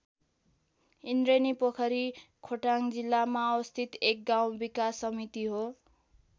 ईन्द्रेणी पोखरी खोटाङ जिल्लामा अवस्थित एक गाउँ विकास समिति हो।